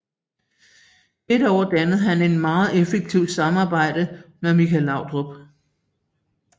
Dette år dannede han et meget effektivt samarbejde med Michael Laudrup